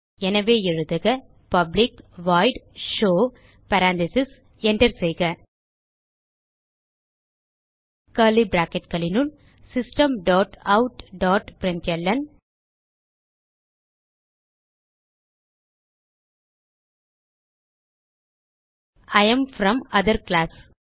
எனவே எழுதுக public void show parentheses Enter செய்க கர்லி bracketகளினுள் system dot out dot println I am from other class